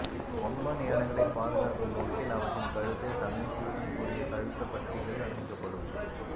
கொம்பன் யானைகளை பாதுகாக்கும் நோக்கில் அவற்றின் கழுத்தை சமிஞ்சையுடன் கூடிய கழுத்தப் பட்டிகள் அணிவிக்கப்படும்